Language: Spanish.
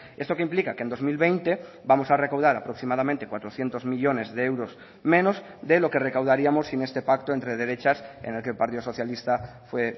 esto que implica que en dos mil veinte vamos a recaudar aproximadamente cuatrocientos millónes de euros menos de lo que recaudaríamos sin este pacto entre derechas en el que el partido socialista fue